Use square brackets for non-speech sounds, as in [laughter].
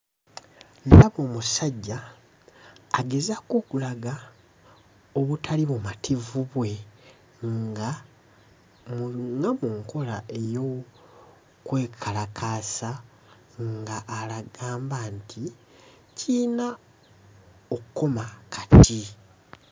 Ndaba omusajja agezaako okulaga obutali bumativu bwe nga [skipped] mu nkola ey'okwekalakaasa ng'agamba nti kiyina okkoma kati.